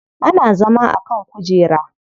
Ana zama a kan kujera.